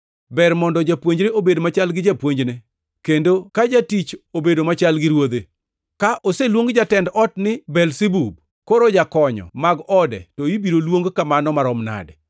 Ber mondo japuonjre obed machal gi japuonjne, kendo ka jatich obedo machal gi ruodhe. Ka oseluong jatend ot ni Belzebub, koro jokanyo mag ode to ibiro luong kamano marom nade!